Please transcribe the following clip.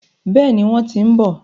Bẹ́ẹ̀ni, wọ́n ti ń bọ̀.